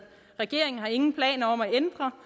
regeringen har ingen planer om at ændre